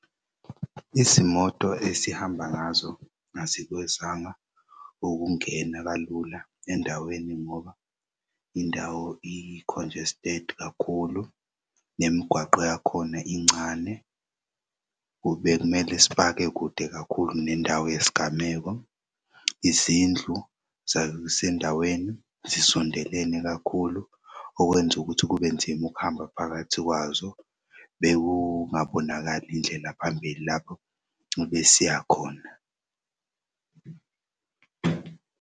Izimoto esihamba ngazo azikwazanga ukungena kalula endaweni ngoba indawo i-congested kakhulu nemigwaqo yakhona incane, bekumele sipake kude kakhulu nendawo yesigameko. Izindlu zasendaweni zisondelene kakhulu okwenz'ukuthi kube nzima ukuhamba phakathi kwazo. Bekungabonakali indlela phambili lapho besiyakhona.